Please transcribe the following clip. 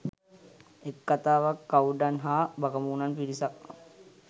එක් කතාවක් කවුඩන් හා බකමූණන් පිරිසක්